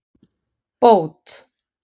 Bót